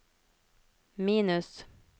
minus